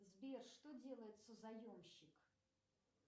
сбер что делает созаемщик